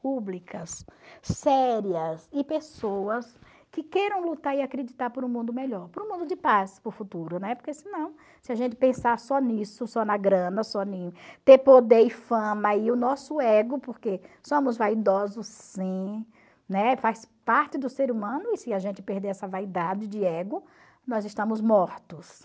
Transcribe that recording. públicas, sérias e pessoas que queiram lutar e acreditar por um mundo melhor, por um mundo de paz para o futuro, né, porque senão, se a gente pensar só nisso, só na grana, só em ter poder e fama e o nosso ego, porque somos vaidosos sim, né, faz parte do ser humano e se a gente perder essa vaidade de ego, nós estamos mortos.